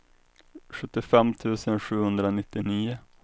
sjuttiofem tusen sjuhundranittionio